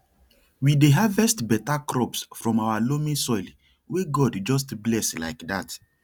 we dey harvest better crops from our loamy soil wey god just bless like that